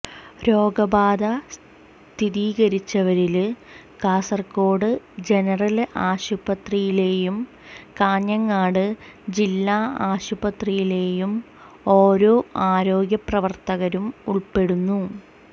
രോഗബാധ സ്ഥിരീകരിച്ചവരില് കാസര്കോട് ജനറല് ആശുപത്രിയിലെയും കാഞ്ഞങ്ങാട് ജില്ലാ ആശുപത്രിയിലെയും ഓരോ ആരോഗ്യപ്രവര്ത്തകരും ഉള്പ്പെടുന്നു